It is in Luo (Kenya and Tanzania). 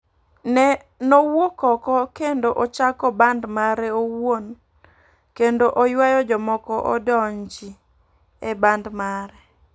Nowuok oko kendo ochako band mare owuon kendo oyuayo jomoko odonji e band mare.